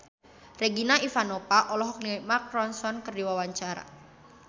Regina Ivanova olohok ningali Mark Ronson keur diwawancara